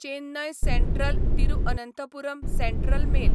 Chennai central Thiruvananthapuram central mail